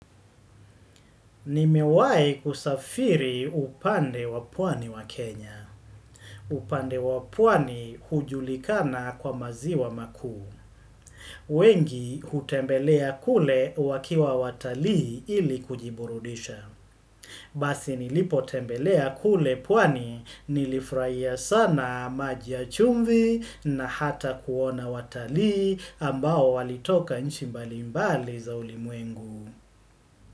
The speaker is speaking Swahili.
Nimewai kusafiri upande wa pwani wa Kenya. Upande wa pwani hujulikana kwa maziwa makuu. Wengi, hutembelea kule wakiwa watalii ili kujiburudisha. Basi nilipo tembelea kule pwani, nilifurahia sana maji ya chumvi na hata kuona watalii ambao walitoka nchi mbali mbali za ulimwengu.